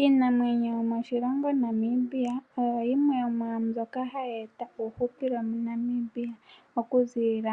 Iinamwenyo yomoshilongo Namibia, oyo yimwe yomwa mbyoka hayi eta uuhupilo moNamibia. Okuzilila